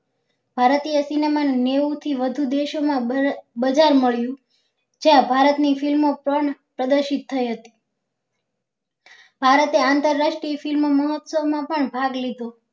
ભારતીય cinema ને નેવું થી વધુ દેશો માં બજાર મળ્યું ત્યાં ભારત ની film પણ પ્રદર્શિત થઇ હતી ભારતે આંતરરાષ્ટ્રીય film મોહત્સ્વ માં પણ ભાગ લીધો